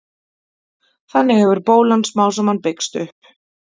Þannig hefur bólan smám saman byggst upp.